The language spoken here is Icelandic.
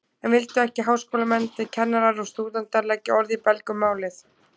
En vildu ekki háskólamennirnir, kennarar og stúdentar, leggja orð í belg um málið?